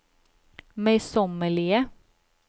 møysommelige